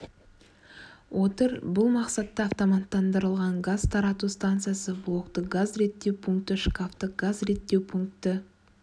отыр бұл мақсатта автоматтандырылған газ тарату станциясы блокты газ реттеу пункті шкафты газ реттеу пункті